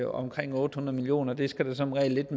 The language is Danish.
omkring otte hundrede million kroner det skal der som regel lidt